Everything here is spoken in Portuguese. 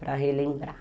Para relembrar.